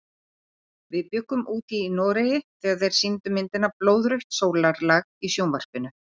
Við bjuggum úti í Noregi þegar þeir sýndu myndina Blóðrautt sólarlag í sjónvarpinu.